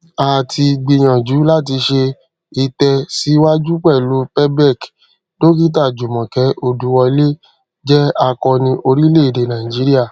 a ti gbìyànjú láti ṣe ìtẹsíwájú pẹlú pebec dókítà jumoke oduwole jẹ akọni orílẹèdè nàìjíríà